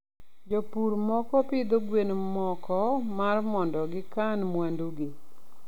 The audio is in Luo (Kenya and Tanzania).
jopur moko pidho gwen moko mar mondo kikan mwandugi